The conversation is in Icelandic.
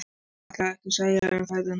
Ætlarðu ekkert að segja um ferðina?